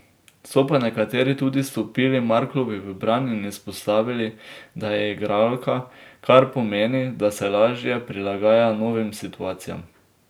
So pa nekateri tudi stopili Marklovi v bran in izpostavili, da je igralka, kar pomeni, da se lažje prilagaja novim situacijam.